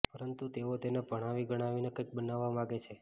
પરંતુ તેઓ તેને ભણાવી ગણાવીને કંઈક બનાવવા માગે છે